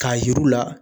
K'a yir'u la